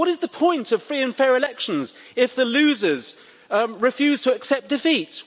What is the point of free and fair elections if the losers refuse to accept defeat?